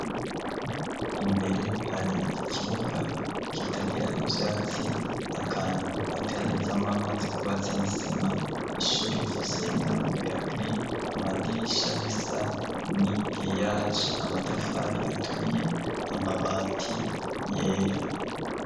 Imbere hari ikibuga kitagira ivyatsi akantu atera nezamwo amazi kubatse n'isima ishuri rifishenyango yagi amadirisha bisa ni geyaji amatafari aturiye amabati yera.